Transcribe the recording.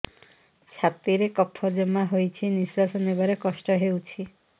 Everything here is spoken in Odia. ଛାତିରେ କଫ ଜମା ହୋଇଛି ନିଶ୍ୱାସ ନେବାରେ କଷ୍ଟ ହେଉଛି